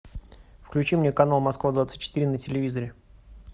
включи мне канал москва двадцать четыре на телевизоре